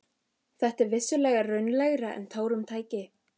Þetta var vissulega raunalegra en tárum tæki.